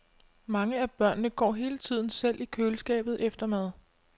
Mange af børnene går hele tiden selv i køleskabet efter mad.